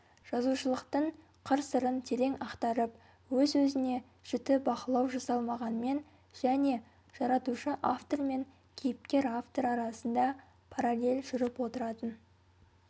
жазушылықтың қырсырын терең ақтарып өз-өзіне жіті бақылау жасалмағанмен және жаратушы автор мен кейіпкер-автор арасында параллель жүріп отыратын